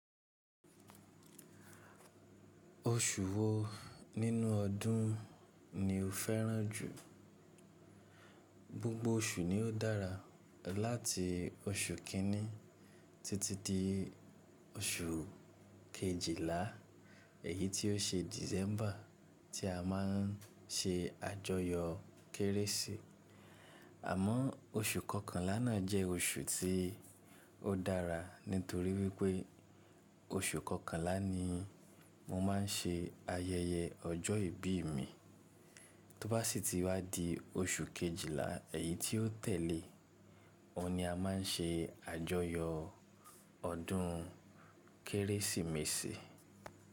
Oṣù wo nínú ọdún ni o fẹ́ràn jù? Gbgbo oṣù ni o dára láti oṣù kìíní títí dé oṣù kejìlá, èyí tí ó ṣe December tí a má n ṣe àjọyọ̀ Kérésì. Àmọ́ oṣù kọkànlá náà jẹ́ oṣù tí ó dára nítorí wípé oṣù kọkànlá ni mo má n ṣe ayẹyẹ ọjọ́ ìbí mi. Tó bá sì tí wá di oṣù kejìlá èyí tí ó tẹ̀lé ọhun ni a má n ṣe àjọyọ̀ ọdún Kérésìmesì.